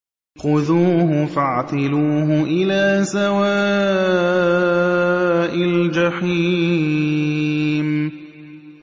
خُذُوهُ فَاعْتِلُوهُ إِلَىٰ سَوَاءِ الْجَحِيمِ